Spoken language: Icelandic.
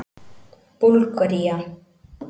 Búlgaría